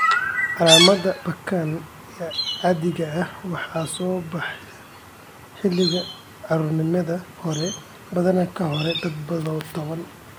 Calaamadaha PKAN ee caadiga ah waxay soo baxaan xilliga carruurnimada hore, badanaa ka hor da'da toban.